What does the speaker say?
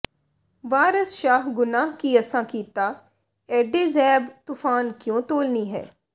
ਵਾਰਸ ਸ਼ਾਹ ਗੁਨਾਹ ਕੀ ਅਸਾਂ ਕੀਤਾ ਏਡੇ ਜ਼ੈਬ ਤੂਫਾਨ ਕਿਉਂ ਤੋਲਨੀ ਹੈਂ